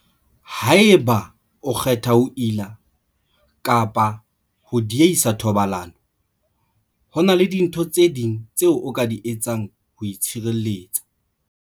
Haeba o kgetha ho ila kapa ho diehisa thobalano, ho na le dintho tse ding tseo o ka di etsang ho itshireletsa.